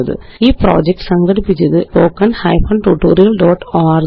ഈ പ്രൊജക്റ്റ് സംഘടിപ്പിച്ചത് httpspoken tutorialorg